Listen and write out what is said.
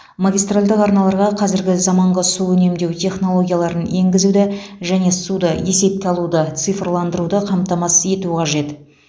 магистральдық арналарға қазіргі заманғы су үнемдеу технологияларын енгізуді және суды есепке алуды цифрландыруды қамтамасыз ету қажет